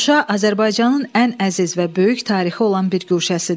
Şuşa Azərbaycanın ən əziz və böyük tarixi olan bir guşəsidir.